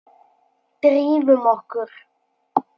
Drífum okkur.